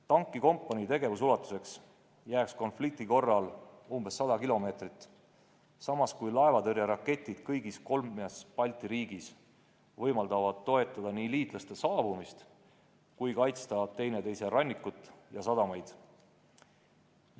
Tankikompanii tegevusulatuseks jääks konflikti korral umbes 100 kilomeetrit, samas kui laevatõrjeraketid kõigis kolmes Balti riigis võimaldavad toetada nii liitlaste saabumist kui ka kaitsta üksteise rannikut ja sadamaid.